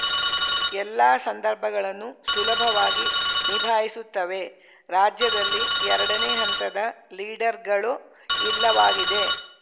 ಎಲ್ಲ ಸಂದರ್ಭಗಳನ್ನು ಸುಲಭವಾಗಿ ನಿಭಾಯಿಸುತ್ತವೆ ರಾಜ್ಯದಲ್ಲಿ ಎರಡನೇ ಹಂತದ ಲೀಡರ್‌ಗಳು ಇಲ್ಲವಾಗಿದೆ